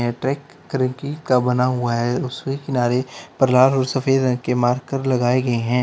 Track का बना हुआ है उसके किनारे पर लाल और सफेद रंग के मार्कर लगाए गए हैं।